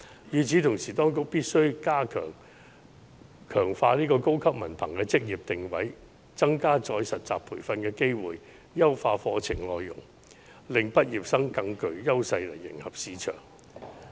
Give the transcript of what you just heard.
與此同時，當局必須強化高級文憑的職業定位，增加再實習培訓的機會，優化課程內容，令畢業生在迎合市場方面更具優勢。